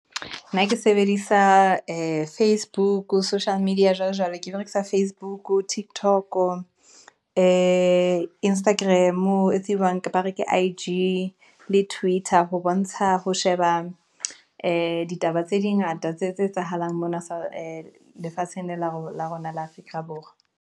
Nna ke sebedisa ee facebook, social media jwalo jwalo, ke berekisa Facebook, TikTok, ee Instagram, etsijwang bareng ke ke I_G, le twitter, ho bontsha ho sheba, ee di ditaba tse di ngata tse etsahalang mona lefatsheng lena la rona la Afrika Borwa.